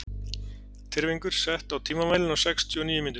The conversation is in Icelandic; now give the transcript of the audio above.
Tyrfingur, stilltu tímamælinn á sextíu og níu mínútur.